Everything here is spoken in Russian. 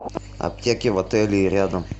аптеки в отеле и рядом